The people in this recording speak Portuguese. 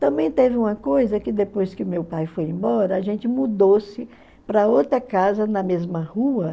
Também teve uma coisa que, depois que meu pai foi embora, a gente mudou-se para outra casa na mesma rua.